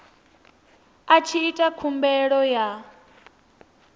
a tshi ita khumbelo ya